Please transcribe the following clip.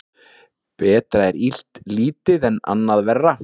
Betra er illt lítið en annað verra.